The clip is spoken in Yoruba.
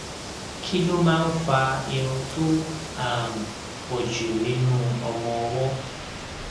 kí ló máa ń fa irun tó um pò jù nínú ọmọ ọwó